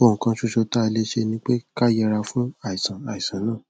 ohun kan ṣoṣo tá a lè ṣe ni pé ká yẹra fún àìsàn àìsàn náà